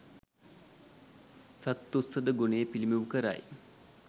සත්තුස්සද ගුණය පිළිබිඹු කරයි